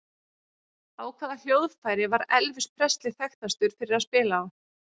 Á hvaða hljóðfæri var Elvis Presley þekktastur fyrir að spila á?